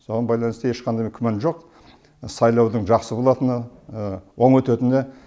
соған байланысты ешқандай күмән жоқ сайлаудың жақсы болатынына оң өтетініне